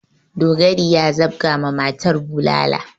Dogari ya zabga ma matar bulala.